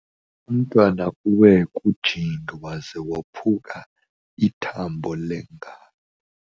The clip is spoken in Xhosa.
Umntwana uwe kujingi waze waphuka ithambo lengalo.